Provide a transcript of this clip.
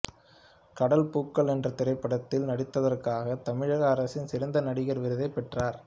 கடல் பூக்கள் என்ற திரைப்படத்தில் நடித்ததற்காக தமிழக அரசின் சிறந்த நடிகர் விருதை பெற்றார்